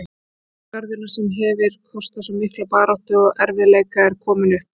Stúdentagarðurinn, sem hefir kostað svo mikla baráttu og erfiðleika, er kominn upp.